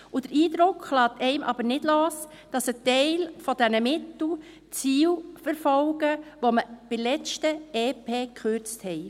Der Eindruck lässt einem nicht los, dass ein Teil der Mittel das Ziel verfolgen, welche wir beim letzten Entlastungspaket (EP) gekürzt haben.